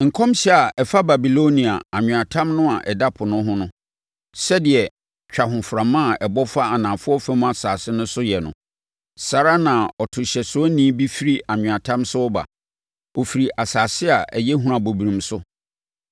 Nkɔmhyɛ a ɛfa Babilonia, anweatam no a ɛda Po no ho: Sɛdeɛ twahoframa a ɛbɔ fa anafoɔ fam asase so no yɛ no, saa ara na ɔtohyɛsoɔni bi firi anweatam so reba. Ɔfiri asase a ɛyɛ hunabɔbrim so.